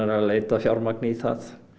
að leita að fjármagni í það